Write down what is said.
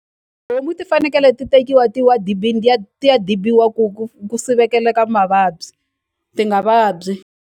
ti fanekele ti tekiwa ti wa dibini ti ya ti ya dibiwa ku ku ku sivekela mavabyi ti nga vabyi.